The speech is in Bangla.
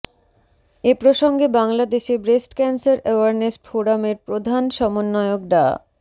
এ প্রসঙ্গে বাংলাদেশে ব্রেস্ট ক্যানসার এওয়ারনেস ফোরামের প্রধান সমন্বয়ক ডা